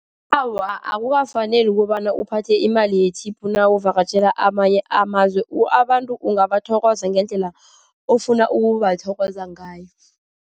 Awa, akukafaneli kobana uphathe imali ye-tip nawuvakatjhela amanye amazwe. Abantu ungabathokoza ngendlela ofuna ukubathokoza ngayo.